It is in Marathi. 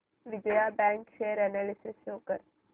Vijaya bank share analysis show कर